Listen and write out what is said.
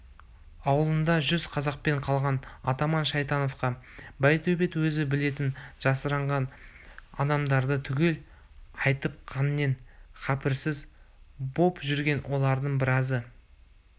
ауылында жүз казакпен қалған атаман шайтановқа байтөбет өзі білетін жасырынған адамдарды түгел айтып қаннен-қаперсіз боп жүрген олардың біразы